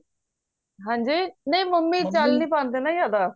ਹਮਜੀ ਨਹੀਂ ਮੰਮੀ ਚੱਲ ਨਹੀਂ ਪੈਂਦੇ ਨਾ ਜ਼ਿਆਦਾ